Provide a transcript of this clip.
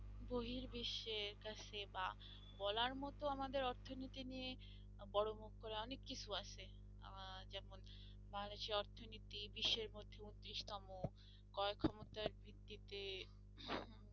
বহির বিশ্বের কাছে বা বলার মতো আমাদের অর্থনীতি নিয়ে বড়ো মুখ করে অনেককিছু আছে আহ যেমন বাংলাদেশি অর্থনীতি বিশ্বের মধ্যে ঊনত্রিশতম, ক্রয় ক্ষমতার ভিত্তিতে